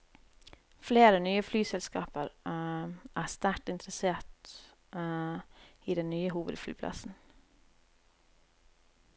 Flere nye flyselskaper er sterkt interessert i den nye hovedflyplassen.